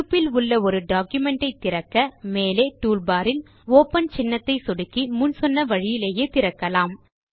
இருப்பில் உள்ள ஒரு டாக்குமென்ட் ஐ திறக்க மேலே டூல்பார் இல் ஒப்பன் சின்னத்தை சொடுக்கி முன் சொன்ன வழியிலேயே திறக்கலாம்